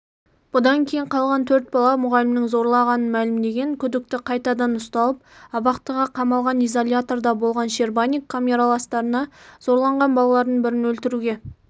бұдан кейін қалған төрт бала мұғалімнің зорлағанын мәлімдеген күдікті қайтадан ұсталып абақтыға қамалған изоляторда болған щербаник камераластарына зорланған балалардың бірін өлтіруге